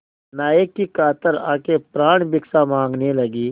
नायक की कातर आँखें प्राणभिक्षा माँगने लगीं